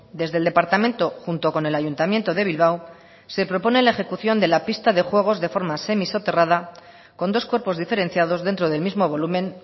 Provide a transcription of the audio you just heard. desde el departamento junto con el ayuntamiento de bilbao se propone la ejecución de la pista de juegos de forma semisoterrada con dos cuerpos diferenciados dentro del mismo volumen